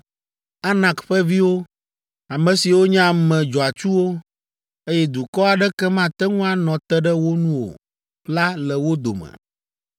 Anak ƒe viwo, ame siwo nye ame dzɔatsuwo, eye dukɔ aɖeke mate ŋu anɔ te ɖe wo nu o la le wo dome.